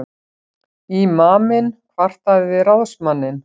Ímaminn kvartaði við ráðsmanninn.